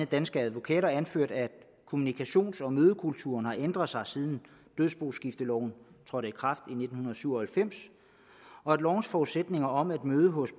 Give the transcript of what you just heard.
danske advokater anført at kommunikations og mødekulturen har ændret sig siden dødsboskifteloven trådte i kraft i nitten syv og halvfems og at lovens forudsætninger om at møde hos